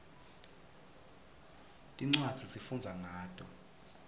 tincwadzi sifundza ngato